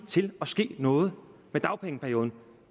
til at ske noget med dagpengeperioden